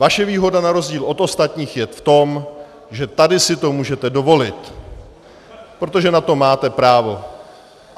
Vaše výhoda na rozdíl od ostatních je v tom, že tady si to můžete dovolit, protože na to máte právo.